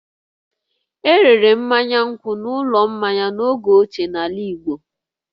E rere mmanya nkwụ n'ụlọ mmanya n'oge ochie n'ala Igbo